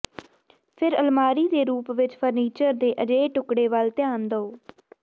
ਫਿਰ ਅਲਮਾਰੀ ਦੇ ਰੂਪ ਵਿਚ ਫਰਨੀਚਰ ਦੇ ਅਜਿਹੇ ਟੁਕੜੇ ਵੱਲ ਧਿਆਨ ਦਿਓ